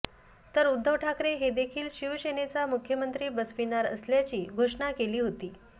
तर उद्धव ठाकरे हे देखील शिवसेनेचा मुख्यमंत्री बसविणार असल्याची घोषणा केली होती